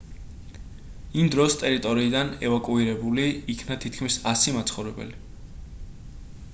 იმ დროს ტერიტორიიდან ევაკუირებული იქნა თითქმის 100 მაცხოვრებელი